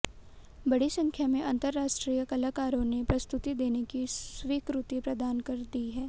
बड़ी संख्या में अंतरराष्ट्रीय कलाकारों ने प्रस्तुति देने की स्वीकृति प्रदान कर दी है